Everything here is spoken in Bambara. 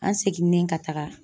An seginnen ka taga